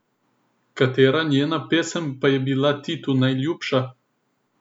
Katera njena pesem pa je bila Titu najljubša?